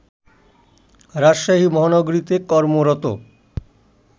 রাজশাহী মহানগরীতে কর্মরত